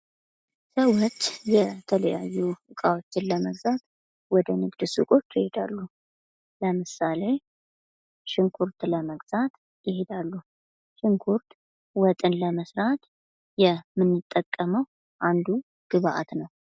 ሰዎች የተለያዩ እቃዎችን ለመግዛት ወደ ንግድ ሱቆች ይሄዳሉ ለምሳሌ ሽንኩርት ለመግዛት ይሄዳሉ ሽንኩርት ወጥን ለመስራት የምንጠቀመው አንዱ ግብአት ነው።